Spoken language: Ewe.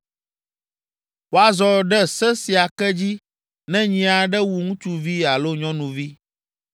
“Woazɔ ɖe se sia ke dzi ne nyi aɖe wu ŋutsuvi alo nyɔnuvi.